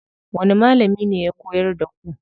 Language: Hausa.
Wani malami ne ya koyar da ku?